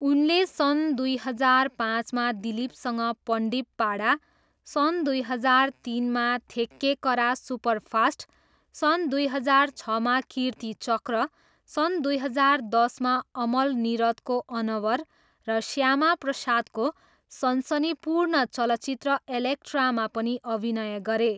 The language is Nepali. उनले सन् दुई हजार पाँचमा दिलिपसँग पन्डिप्पाडा, सन् दुई हजार तिनमा थेक्केकरा सुपरफास्ट, सन् दुई हजार छमा कीर्तिचक्र, सन् दुई हजार दसमा अमल निरदको अनवर र श्यामाप्रसादको सनसनीपूर्ण चलचित्र एलेक्ट्रामा पनि अभिनय गरे।